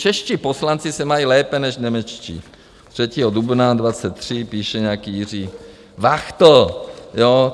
"Čeští poslanci se mají lépe než němečtí," 3. dubna 2023 píše nějaký Jiří Vachtl.